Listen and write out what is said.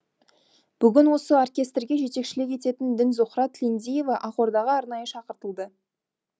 бүгін осы оркестерге жетекшілік ететін дінзухра тілендиева ақордаға арнайы шақыртылды